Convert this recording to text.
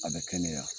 A bɛ kɛnɛya